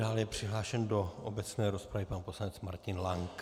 Dále je přihlášen do obecné rozpravy pan poslanec Martin Lank.